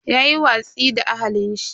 Yayi watsi da ahalin shi.